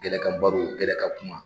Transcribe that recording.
Gɛlɛ kan baro gɛlɛ kan kuma.